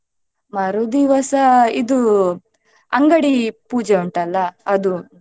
ಮರು ದಿವಸ ಇದು ಅಂಗಡಿ ಪೂಜೆ ಉಂಟಲ್ಲ ಅದು.